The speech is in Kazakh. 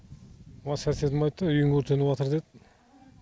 осы соседім айтты үйің өртенватыр деді